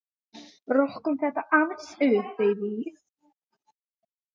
Rokkum þetta aðeins upp!